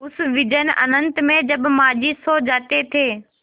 उस विजन अनंत में जब माँझी सो जाते थे